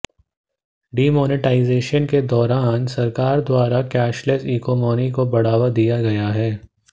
demonetisation के दौरान सरकार द्वारा केशलेस इकोनॉमी को बढ़ावा दिया गया हैं